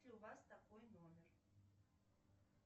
у вас такой номер